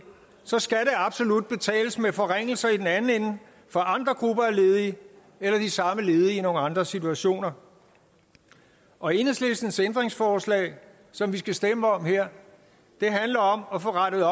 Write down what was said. så skal der absolut betales med forringelser i den anden ende for andre grupper af ledige eller de samme ledige i nogle andre situationer og enhedslistens ændringsforslag som vi skal stemme om her handler om at få rettet